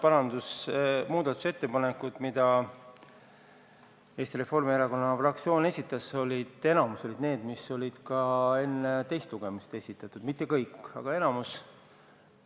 Enamik muudatusettepanekuid, mis Eesti Reformierakonna fraktsioon esitas, olid need, mis olid ka enne teist lugemist esitatud – mitte kõik, aga enamik.